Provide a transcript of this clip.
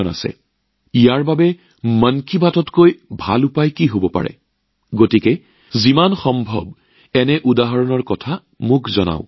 আৰু এই কথা কবলৈ মন কী বাততকৈ ভাল কি হব পাৰে গতিকে আপোনালোকেও এনে উদাহৰণ মোৰ লগত যিমান পাৰে শ্বেয়াৰ কৰক